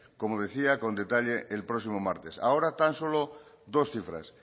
como decía con detalle el próximo martes ahora tan solo dos cifras